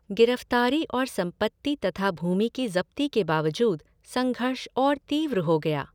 गिरफ़्तारी और संपत्ति तथा भूमि की ज़ब्ती के बावजूद संघर्ष और तीव्र हो गया।